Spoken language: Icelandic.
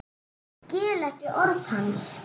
Skil ekki orð hans.